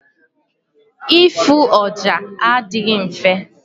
Ịfụ ọja adịghị mfe.